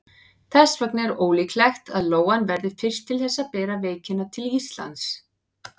Þess vegna er ólíklegt að lóan verði fyrst til þess að bera veikina til Íslands.